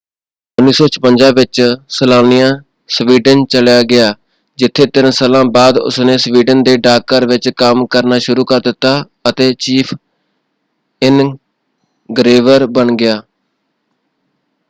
1956 ਵਿੱਚ Slania Sweden ਚਲਿਆ ਗਿਆ ਜਿੱਥੇ ਤਿੰਨ ਸਾਲਾਂ ਬਾਅਦ ਉਸਨੇ ਸਵੀਡਨ ਦੇ ਡਾਕ ਘਰ ਵਿੱਚ ਕੰਮ ਕਰਨਾ ਸ਼ੁਰੂ ਕਰ ਦਿੱਤਾ ਅਤੇ ਚੀਫ਼ ਇਨਗ੍ਰੇਵਰ ਬਣ ਗਿਆ।